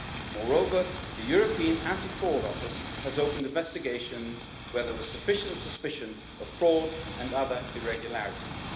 Moreover, the European Anti Fraud Office has opened investigations where there was sufficient suspicion of fraud and other irregularities.